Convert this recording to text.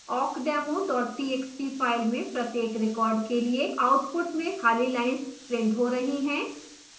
awkdemo txt file में प्रत्येक record के लिए output में खाली lines printed हो रही हैं